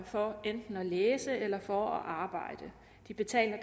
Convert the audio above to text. for at læse eller for at arbejde de betaler